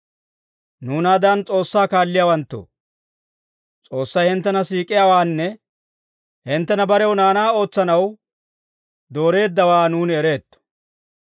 Nuunaadan S'oossaa kaalliyaawanttoo, S'oossay hinttena siik'iyaawaanne hinttena barew naanaa ootsanaw dooreeddawaa nuuni ereetto.